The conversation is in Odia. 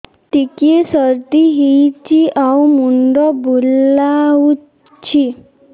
ଟିକିଏ ସର୍ଦ୍ଦି ହେଇଚି ଆଉ ମୁଣ୍ଡ ବୁଲାଉଛି